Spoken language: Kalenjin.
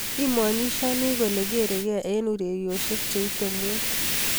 Imaanishani kole kereii gee eng urerosiek che ite muut